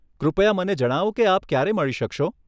કૃપયા મને જણાવો કે આપ ક્યારે મળી શકશો.